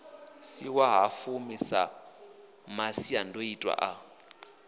si ṅwahafumi sa masiandoitwa a